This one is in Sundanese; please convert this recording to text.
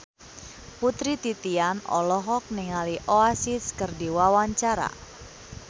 Putri Titian olohok ningali Oasis keur diwawancara